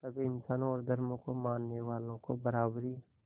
सभी इंसानों और धर्मों को मानने वालों को बराबरी